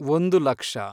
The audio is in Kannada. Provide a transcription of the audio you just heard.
ಒಂದು ಲಕ್ಷ